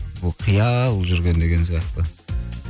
ол қиял жүрген деген сияқты